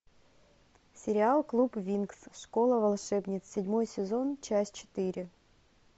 сериал клуб винкс школа волшебниц седьмой сезон часть четыре